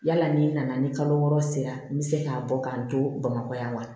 Yala ni n nana ni kalo wɔɔrɔ sera n bɛ se k'a bɔ k'a to bamakɔ yan wa